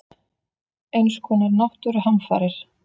Eins konar náttúruhamfarir.